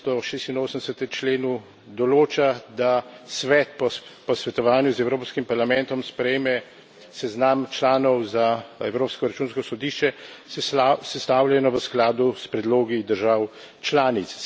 286. členu določa, da Svet po posvetovanju z Evropskim parlamentom sprejme seznam članov za Evropsko računsko sodišče, sestavljeno v skladu s predlogi držav članic.